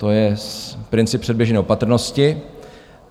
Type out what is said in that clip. To je princip předběžné opatrnosti.